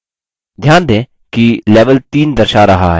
ध्यान दें कि level 3 दर्शा रहा है